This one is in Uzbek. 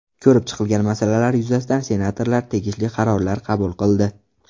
Ko‘rib chiqilgan masalalar yuzasidan senatorlar tegishli qarorlar qabul qildi.